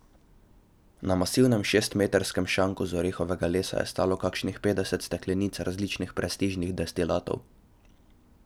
Na masivnem šestmetrskem šanku iz orehovega lesa je stalo kakšnih petdeset steklenic različnih prestižnih destilatov.